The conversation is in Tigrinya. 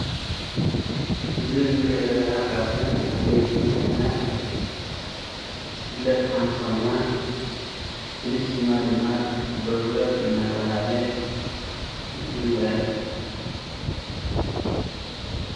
እዚ ንሪኦ ዘላና ካብቶም ዓበይቲ ማሽናት ትፍለጥ ሓንቲ ኮይና ፍሉይ ስማ ድማ ዶውዘር እናተበሃለ ይፍለጥ።